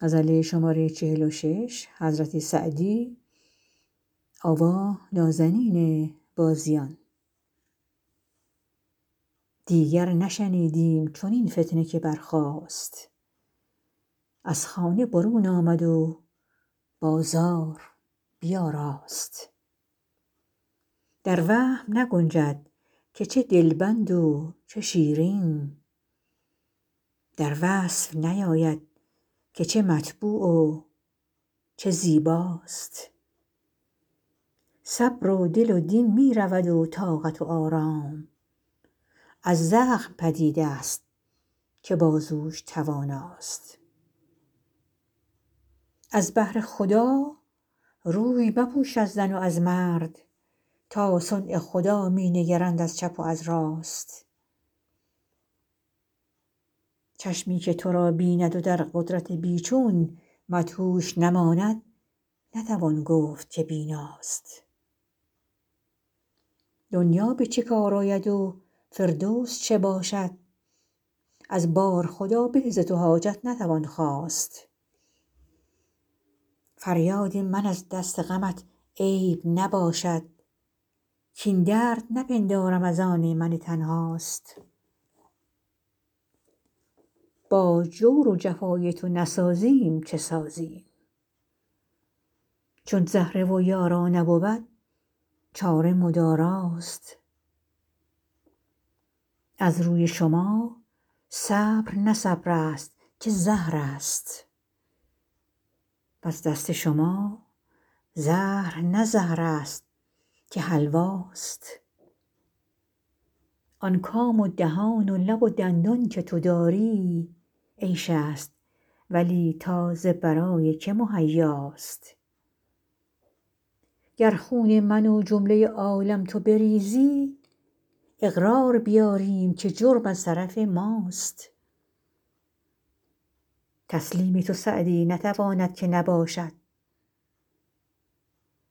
دیگر نشنیدیم چنین فتنه که برخاست از خانه برون آمد و بازار بیاراست در وهم نگنجد که چه دلبند و چه شیرین در وصف نیاید که چه مطبوع و چه زیباست صبر و دل و دین می رود و طاقت و آرام از زخم پدید است که بازوش تواناست از بهر خدا روی مپوش از زن و از مرد تا صنع خدا می نگرند از چپ و از راست چشمی که تو را بیند و در قدرت بی چون مدهوش نماند نتوان گفت که بیناست دنیا به چه کار آید و فردوس چه باشد از بارخدا به ز تو حاجت نتوان خواست فریاد من از دست غمت عیب نباشد کاین درد نپندارم از آن من تنهاست با جور و جفای تو نسازیم چه سازیم چون زهره و یارا نبود چاره مداراست از روی شما صبر نه صبر است که زهر است وز دست شما زهر نه زهر است که حلواست آن کام و دهان و لب و دندان که تو داری عیش است ولی تا ز برای که مهیاست گر خون من و جمله عالم تو بریزی اقرار بیاریم که جرم از طرف ماست تسلیم تو سعدی نتواند که نباشد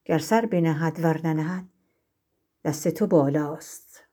گر سر بنهد ور ننهد دست تو بالاست